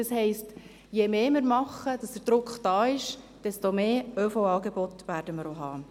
Das heisst, je mehr wir tun, dass der Druck da ist, desto mehr ÖV-Angebote werden wir auch haben.